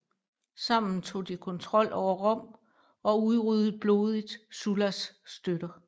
Sammen tog de kontrol over Rom og udryddede blodigt Sullas støtter